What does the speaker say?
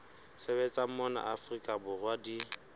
sebetsang mona afrika borwa di